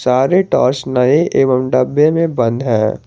सारे टॉर्च नए एवं डब्बे में बंद है।